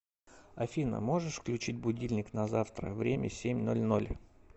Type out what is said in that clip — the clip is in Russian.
афина можешь включить будильник на завтра время семь ноль ноль